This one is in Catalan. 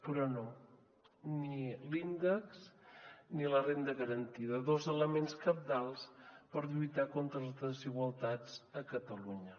però no ni l’índex ni la renda garantida dos elements cabdals per lluitar contra les desigualtats a catalunya